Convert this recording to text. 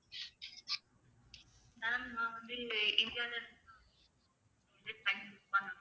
ma'am நான் வந்து இந்தியாவிலிருந்து